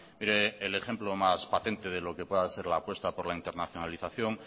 mire el ejemplo más patente de lo que pueda ser la apuesta por la internacionalización